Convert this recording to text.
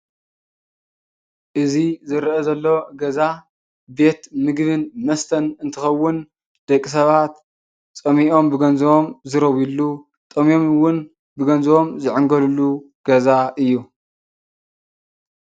እዚ ዝርአ ዘሎ ገዛ ቤት ምግብን መስተን እንትኸውን ደቂ ሰባት ፀሚኦም ብገንዘቦም ዝረውዩሉ ጠምዮም እውን ብገንዘቦም ዝዕንገሉሉ ገዛ እዩ።